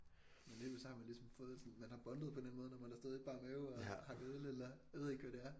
Men lige pludselig så har man ligesom fået sådan man har bondet på en eller anden måde når man har stået i bar mave og hakket øl eller jeg ved ikke hvad det er